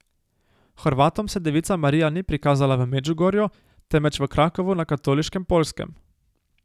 Hrvatom se devica Marija ni prikazala v Medžugorju, temveč v Krakovu na katoliškem Poljskem.